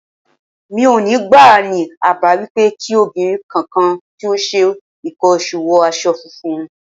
Mi ò ní gbà á ní àbá wípé kí obìnrin kankan tí ó ń ṣe ǹkan oṣù wọ aṣọ funfun.